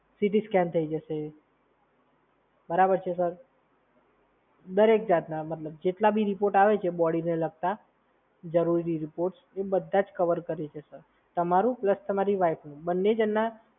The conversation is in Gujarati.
સિટી સ્કેન થઈ જશે, બરાબર છે સર? દરેક જાતના મતલબ જેટલા બી રિપોર્ટ આવે છે બોડીને લગતા જરૂરી રિપોર્ટ્સ એ બધા જ કવર કરે છે, સર. તમારું પ્લસ તમારી વાઈફનું, બંને જણના.